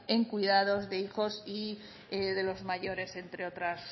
en cuidados de hijos y de los mayores entre otras